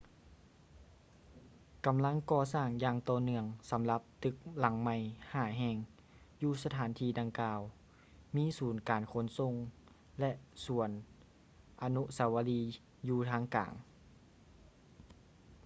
ກຳລັງກໍ່ສ້າງຢ່າງຕໍ່ເນື່ອງສຳລັບຕຶກຫລັງໃໝ່ຫ້າແຫ່ງຢູ່ສະຖານທີ່ດັ່ງກ່າວ ມີສູນການຂົນສົ່ງ ແລະ ສວນອະນຸສາວະລີຢູ່ທາງກາງ